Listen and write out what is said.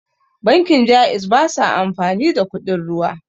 Bankin Ja'iz basa amfani da kuɗin ruwa